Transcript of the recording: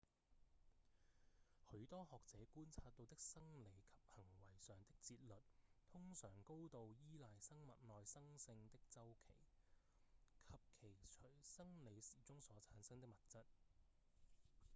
許多學者觀察到的生理及行為上的節律通常高度倚賴生物內生性的週期及其隨生理時鐘所產生的物質